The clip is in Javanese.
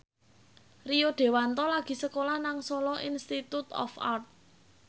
Rio Dewanto lagi sekolah nang Solo Institute of Art